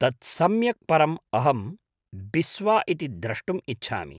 तत् सम्यक् परम् अहं बिस्वा इति द्रष्टुम् इच्छामि।